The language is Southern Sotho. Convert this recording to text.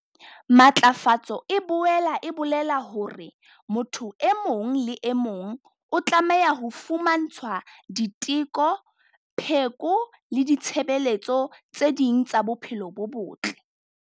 Matlafatso e boela e bolela hore motho e mong le e mong o tlameha ho fumantshwa diteko, pheko le ditshebeletso tse ding tsa bophelo bo botle.